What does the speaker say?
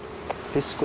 fyrst